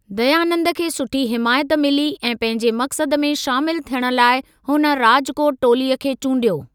दयानंद खे सुठी हिमायत मिली ऐं पंहिंजे मक्सद में शामिल थियण लाइ हुन राजकोट टोलीअ खे चूंडियो।